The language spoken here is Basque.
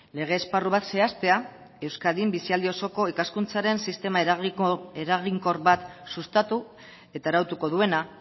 lege esparru bat zehaztea euskadin bizialdi osoko ikaskuntzaren sistema eraginkor bat sustatu eta arautuko duena